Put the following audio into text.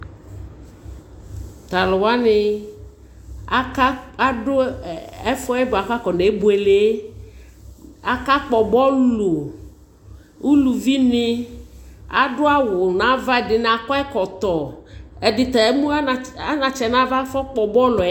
Talʋ wani adʋ ɛfɛ yɛ kʋ akɔne buele akakpɔ bɔlʋ ʋlʋvini adʋ awʋ nʋ ava ɛdini akɔ ɛkɔtɔ ɛdita emʋ anatsɛ nʋ ava afɔ kpɔ bɔlʋ yɛ